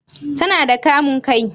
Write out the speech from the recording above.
Ta na da kamun kai?